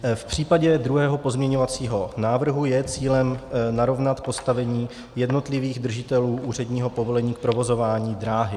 V případě druhého pozměňovacího návrhu je cílem narovnat postavení jednotlivých držitelů úředního povolení k provozování dráhy.